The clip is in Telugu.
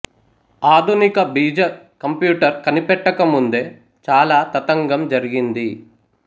ఆధునిక బీజ కంప్యూటర్ కనిపెట్టక ముందే చాలా తతంగం జరిగింది